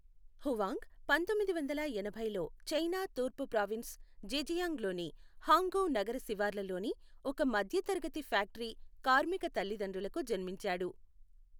Huang పంతొమ్మిది వందల ఎనభైలో చైనా తూర్పు ప్రావిన్స్ జెజియాంగ్ లోని హాంగ్ఝౌ నగర శివార్లలోని ఒక మధ్యతరగతి ఫ్యాక్టరీ కార్మిక తల్లిదండ్రులకు జన్మించాడు.